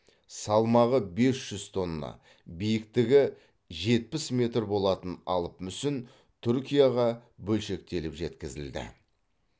салмағы бес жүз тонна биіктігі жетпіс метр болатын алып мүсін түркияға бөлшектеліп жеткізілді